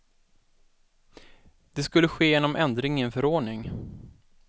Det skulle ske genom ändring i en förordning.